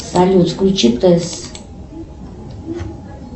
салют включи тесс